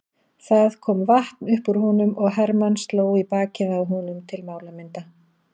Það kom vatn upp úr honum og Hermann sló í bakið á honum til málamynda.